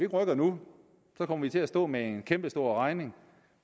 rykker nu kommer vi til at stå med en kæmpestor regning